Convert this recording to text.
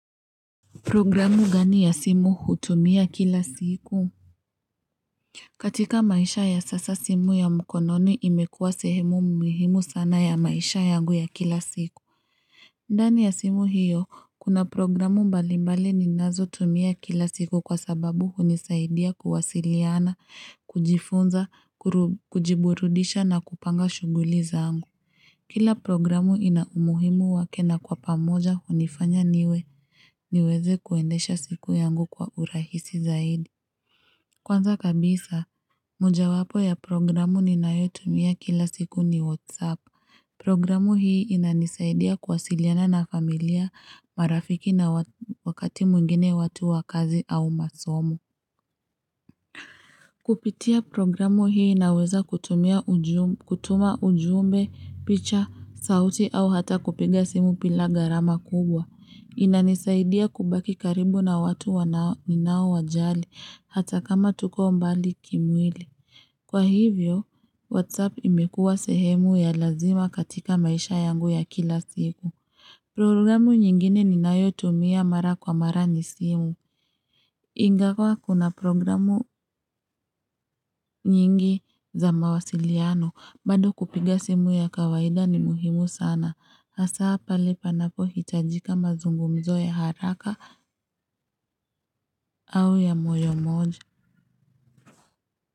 Programu gani ya simu hutumia kila siku? Katika maisha ya sasa simu ya mkononi imekuwa sehemu muhimu sana ya maisha yangu ya kila siku. Ndani ya simu hiyo, kuna programu mbali mbali ninazo tumia kila siku kwa sababu unisaidia kuwasiliana, kujifunza, kujiburudisha na kupanga shughuli zangu. Kila programu ina umuhimu wake na kwa pamoja unifanya niweze kuendesha siku yangu kwa urahisi zaidi. Kwanza kabisa, mojawapo ya programu ninayotumia kila siku ni Whatsapp. Programu hii inanisaidia kuwasiliana na familia marafiki na wakati mwingine watu wa kazi au masomo. Kupitia programu hii inaweza kutuma ujumbe, picha, sauti au hata kupiga simu bila gharama kubwa. Inanisaidia kubaki karibu na watu wanao ninao wajali hata kama tuko mbali kimwili. Kwa hivyo, WhatsApp imekua sehemu ya lazima katika maisha yangu ya kila siku. Programu nyingine ninayo tumia mara kwa mara ni simu. Ingawa kuna programu nyingi za mawasiliano. Bado kupiga simu ya kawaida ni muhimu sana. Asa pale panapo hitajika mazungumzo ya haraka au ya moyo mmoja.